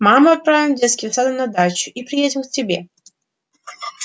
маму отправим с детским садом на дачу и приедем к тебе